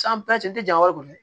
tɛ janya yɔrɔ kɔni